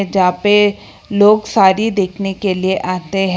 जहां पे लोग सारी देखने के लिए आते हैं।